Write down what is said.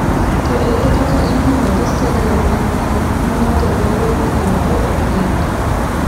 To ere kaka ipimo gi stadium mamoko ma ng’ato nyalo ng’iyogo e piny?